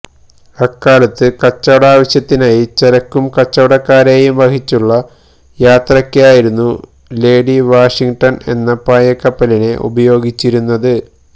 അക്കാലത്ത് കച്ചവടാവശ്യത്തിനായി ചരക്കും കച്ചവടക്കാരേയും വഹിച്ചുള്ള യാത്രക്കായിരുന്നു ലേഡി വാഷിംടൺ എന്ന പായകപ്പലിനെ ഉപയോഗിച്ചിരുന്നത്